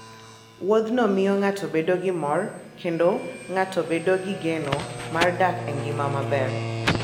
Wuodhno miyo ng'ato bedo gi mor, kendo ng'ato bedo gi geno mar dak e ngima maber.